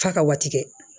F'a ka waati kɛ